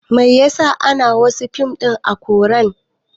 Mai yasa ana wasu fim ɗin a koran